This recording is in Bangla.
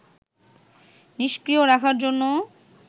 নিষ্ক্রিয় রাখার জন্যে